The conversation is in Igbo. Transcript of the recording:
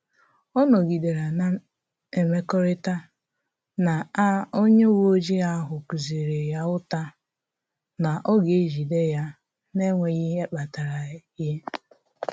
Ọ nọgidere na-emekọrịta na a onye uweojii ahụ kụziri ya ụta na ọ ga-ejide ya n’enweghị ihe kpatara y